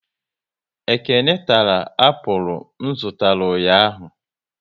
Ekene tara apụl m zụtara ụnyaahụ